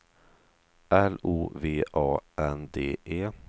L O V A N D E